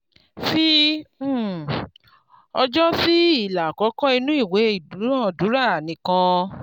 fi um ọjọ́ sí ilà àkọ́kọ́ nínú ìwé ìdúnadúrà nìkan.